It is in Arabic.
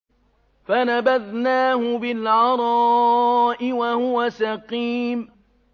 ۞ فَنَبَذْنَاهُ بِالْعَرَاءِ وَهُوَ سَقِيمٌ